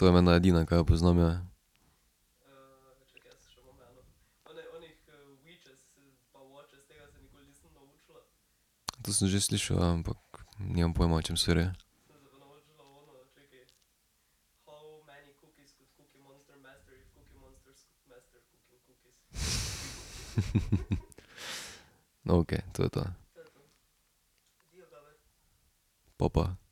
To je menda edina, kaj jo poznam, ja. To sem že slišal, ja, ampak nimam pojma, o čem se gre. No, okej. To je to. Pa pa.